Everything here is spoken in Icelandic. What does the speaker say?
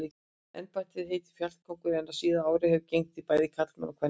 Embættið heitir fjallkóngur en á síðari árum hafa gegnt því bæði karlmenn og kvenmenn.